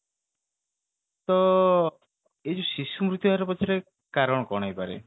ତ ଏଇ ଯୋଉ ଶିଶୁ ମୁର୍ତ୍ୟୁ ହାର ପଛରେ କାରଣ କଣ ହେଇ ପାରେ